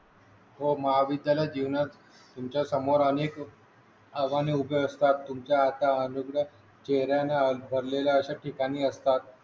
हो महाविद्यालय जीवनात तुमच्यासमोर अनेक आगामी उभे असतात तुमच्या आता अमागस चेहऱ्याने भरलेल्या अशा ठिकाणी असतात